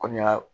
Kɔmi